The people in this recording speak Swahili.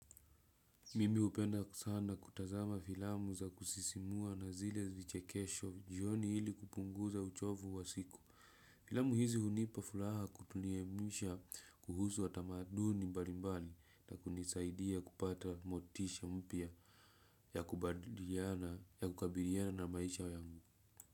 Mimi hupenda sana kutazama filamu za kusisimua na zile vichekesho jioni hili kupunguza uchovu wa siku. Filamu hizi hunipa furaha kutuelimisha kuhusu watamaduni mbalimbali na kunisaidia kupata motisha mpya ya kukabiliana na maisha yangu.